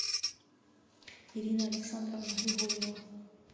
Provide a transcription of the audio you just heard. ирина александровна григорьева